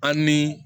A ni